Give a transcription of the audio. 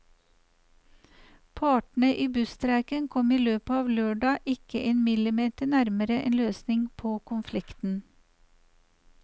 Partene i busstreiken kom i løpet av lørdag ikke en millimeter nærmere en løsning på konflikten.